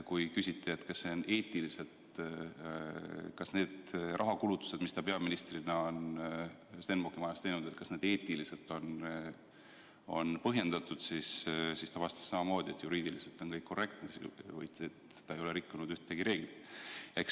Kui küsiti, kas need kulutused, mis ta peaministrina on Stenbocki majas teinud, on eetiliselt põhjendatud, siis ta vastas samamoodi, et juriidiliselt on kõik korrektne, ta ei ole rikkunud ühtegi reeglit.